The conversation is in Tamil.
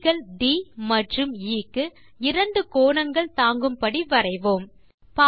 புள்ளிகள் ட் மற்றும் எ க்கு இரண்டு கோணங்கள் தாங்கும்படி வரைவோம்